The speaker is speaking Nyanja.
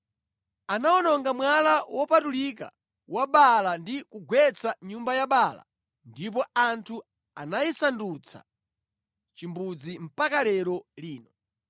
Anawononga mwala wopatulika wa Baala ndi kugwetsa nyumba ya Baala, ndipo anthu anayisandutsa chimbudzi mpaka lero lino.